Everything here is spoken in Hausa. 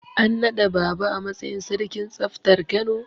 An naɗa Baaba a matsayin sarkin tsaftar Kano.